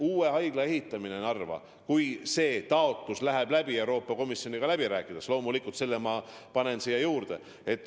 Uue haigla ehitamine Narva – kui see taotlus läheb Euroopa Komisjoniga läbi rääkides läbi, siis loomulikult selle ma panen siia juurde.